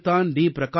நேற்றுத்தான் D